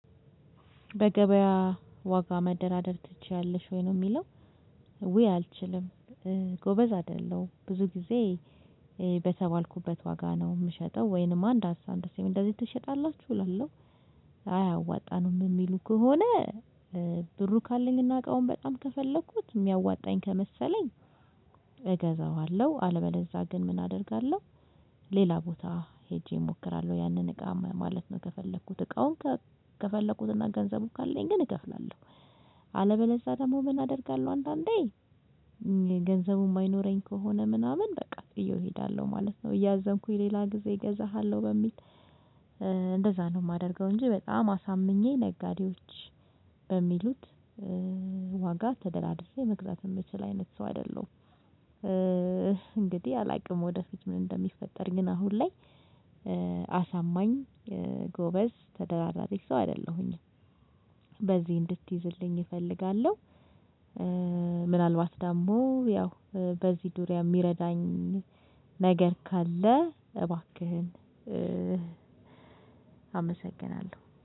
በገበያ ዋጋ መደራደር ትችያለሽ ወይ ነው የሚለው ውይ አልችልም። ጎበዝ አይደለም ብዙ ጊዜ በተባልኩበት ዋጋ ነው የምሸጠው ወይንማ እንዳሳ እንደዚህ ትሸጣላችሁ እላለሁ። አይ አያዋጣንም የሚሉ ከሆነ ብሩ ካለኝ እና እቃውን በጣም ከፈለኩት የሚያዋጣኝ ከመሰለኝ እገዛዋለሁ አልበለዝያ ግን ምን አደርጋለሁ። ሌላ ቦታ ሄጄ እሞክራለሁ ያንን እቃ ማለት ነው ከፈለኩት እቃውን። ከፈለኩትና ገንዘቡ ካለኝ ግን እከፍላለሁ። አለበለዝያ ደግሞ ምን አደርጋለሁ አንዳንዴ ገንዘቡ የማይኖረኝ ከሆነ ምናምን በቃ ጥየው እሄዳለሁ ማለት ነው። እያዘንኩኝ ሌላ ጊዜ እገዛሃለሁ በሚል እንደዛ ነው የማደርገው። እንጂ በጣም አሳምኜ ነጋዴዎች በሚሉት ዋጋ ተደራድረ መግዛት የምችል አይነት ሰው አይደለሁም። እንግዲህ አላውቅም ወደ ፊት ምን እንደሚፈጠር ግን አሁን ላይ አሳማኝ ጎበዝ ተደራዳሪ ሰው አይደለሁኝም። በዚህ እንድትይዝልኝ እፈልጋለሁ። ምናልባት ደግሞ ያው በዚህ ዙርያ የሚረዳኝ ነገር ካለ እባክህን አመሰግናለሁ